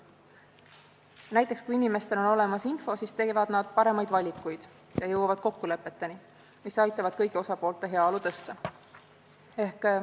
Näiteks kui inimestel on olemas info, siis teevad nad paremaid valikuid ja jõuavad kokkulepeteni, mis aitavad kõigi osapoolte heaolu suurendada.